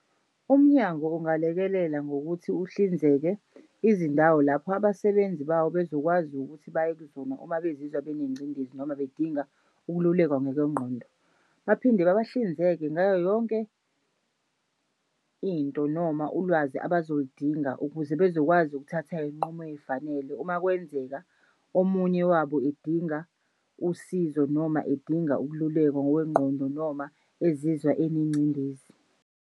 Umnyango ungalekelela ngokuthi uhlinzeke izindawo lapho abasebenzi bawo bezokwazi ukuthi bayekuzona uma bezizwa benengcindezi noma bedinga ukululekwa ngokwengqondo. Baphinde babahlinzeke ngayo yonke into noma ulwazi abazoludinga ukuze bezokwazi ukuthatha iy'nqumo ey'fanele umakwenzeka omunye wabo edinga usizo noma edinga ukululekwa ngokwengqondo noma ezizwa enegcindezi.